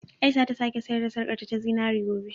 Aisha za ta sake sayar da sarƙarta ta zinare gobe.